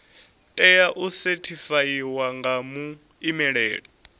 tea u sethifaiwa nga muimeli